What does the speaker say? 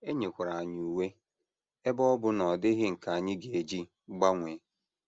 E nyekwara anyị uwe, ebe ọ bụ na ọ dịghị nke anyị ga - eji gbanwee.